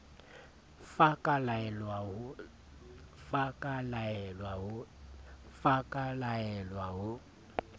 f a ka laelwa ho